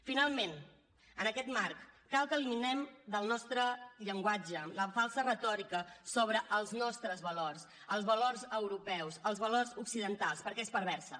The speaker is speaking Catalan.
finalment en aquest marc cal que eliminem del nostre llenguatge la falsa retòrica sobre els nostres valors els valors europeus els valors occidentals perquè és perversa